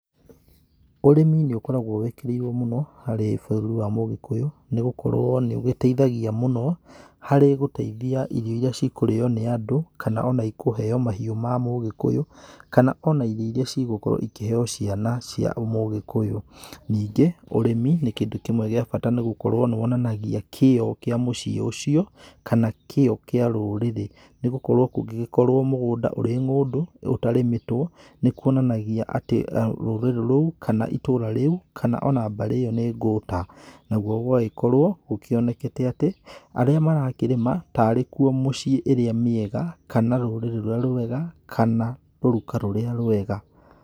Ũrĩmi nĩ ũkoragwo wĩkĩrĩirwo mũno, harĩ bũrũri wa mũgĩkũyũ nĩ gũkorwo nĩ ũgĩteithagia mũno harĩ gũteithia irio iria ikũrĩywo nĩ andũ, kana ona ĩkũheywo mahiũ ma mũgĩkũyũ, kana ona irio iria cigũkorwo ikĩheo ciana cia mũgĩkũyũ. Ningĩ ũrĩmi nĩ kĩndũ kĩmwe gĩa bata nĩ gũkorwo nĩ wonanagia kĩo kĩa mũciĩ ũcio kana kĩo kĩa rũrĩrĩ, nĩgũkorwo kũngĩgĩkorwo mũgũnda ũrĩ ng'ũndũ ũtarĩmĩtwo nĩ kwonanagia atĩ rũrĩrĩ rũu kana itũũra rĩu kana ona mbarĩ ĩyo nĩ ngũta, nagwo gũgagĩkorwo gũkĩonekete atĩ arĩa marakĩrĩma tarĩ kũo mũciĩ ĩrĩa mĩega kana rũrĩrĩ rũrĩa rwega, kana rũruka rũrĩa rwega.